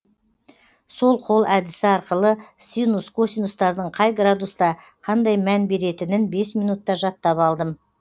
сол қол әдісі арқылы синус косинустардың қай градуста қандай мән беретінін бес минутта жаттап алдым